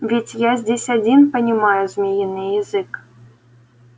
ведь я здесь один понимаю змеиный язык